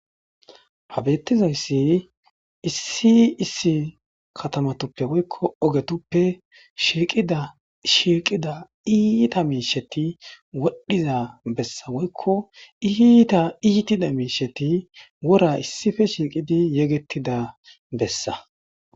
ha bettizayssi issi issi katamatuppe woykko ogetuppe shiiqida shiiqida iita miisheti wodhiza bessa woykko iiita iitida miisheti wora issippe shiiqidi yegettida bessa